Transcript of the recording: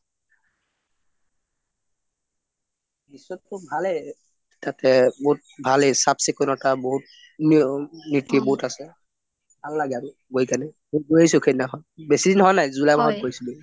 দৃশ্যটো ভালেই বহুত ভালেই চাফ চিকুনতা বহুত আছে ভাল লাগে আৰু গৈ কেনে মই গৈ আহিছোঁ সেইদিনা খন বেছি দিন হোৱা নাই july মাহত গৈছিলো